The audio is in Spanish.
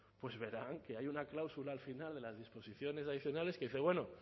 verán que hay una cláusula al final de las disposiciones adicionales que dice bueno